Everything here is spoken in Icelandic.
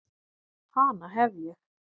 Hana hef ég.